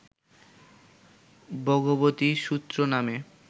ভগবতী সূত্র নামে